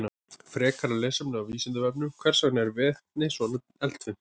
Frekara lesefni á Vísindavefnum: Hvers vegna er vetni svona eldfimt?